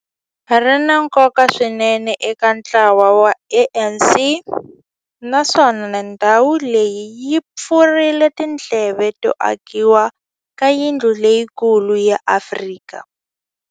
Ri na nkoka swinene eka ntlawa wa ANC, naswona ndhawu leyi yi pfurile tindlela to akiwa ka yindlu leyikulu ya Afrika.